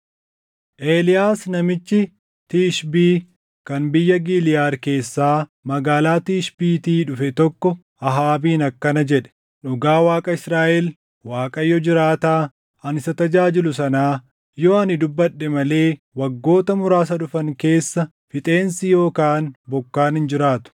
Eeliyaas namichi Tishbii kan biyya Giliʼaad keessaa magaalaa Tishbiitii dhufe tokko Ahaabiin akkana jedhe; “Dhugaa Waaqa Israaʼel, Waaqayyo jiraataa ani isa tajaajilu sanaa! Yoo ani dubbadhe malee waggoota muraasa dhufan keessa fixeensi yookaan bokkaan hin jiraatu.”